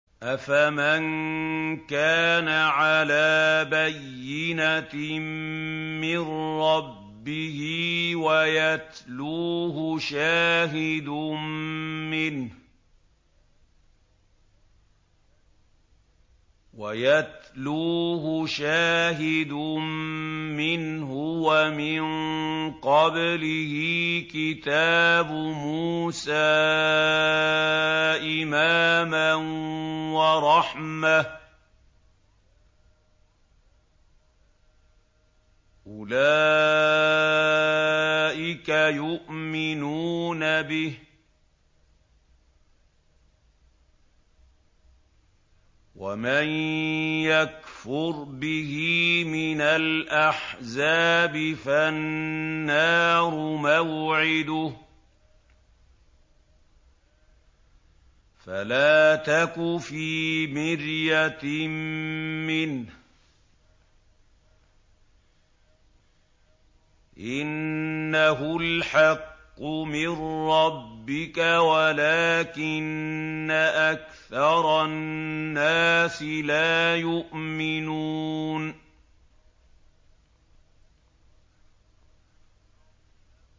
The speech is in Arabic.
أَفَمَن كَانَ عَلَىٰ بَيِّنَةٍ مِّن رَّبِّهِ وَيَتْلُوهُ شَاهِدٌ مِّنْهُ وَمِن قَبْلِهِ كِتَابُ مُوسَىٰ إِمَامًا وَرَحْمَةً ۚ أُولَٰئِكَ يُؤْمِنُونَ بِهِ ۚ وَمَن يَكْفُرْ بِهِ مِنَ الْأَحْزَابِ فَالنَّارُ مَوْعِدُهُ ۚ فَلَا تَكُ فِي مِرْيَةٍ مِّنْهُ ۚ إِنَّهُ الْحَقُّ مِن رَّبِّكَ وَلَٰكِنَّ أَكْثَرَ النَّاسِ لَا يُؤْمِنُونَ